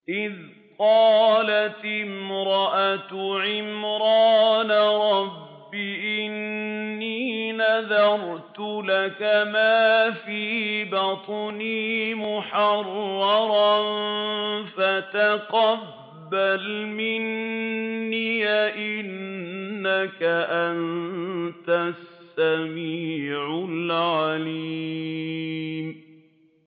إِذْ قَالَتِ امْرَأَتُ عِمْرَانَ رَبِّ إِنِّي نَذَرْتُ لَكَ مَا فِي بَطْنِي مُحَرَّرًا فَتَقَبَّلْ مِنِّي ۖ إِنَّكَ أَنتَ السَّمِيعُ الْعَلِيمُ